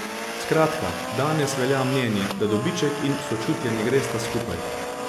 Skratka, danes velja mnenje, da dobiček in sočutje ne gresta skupaj.